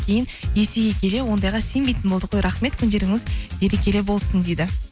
кейін есейе келе ондайға сенбейтін болды қой рахмет күндеріңіз берекелі болсын дейді